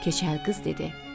Keçəl qız dedi: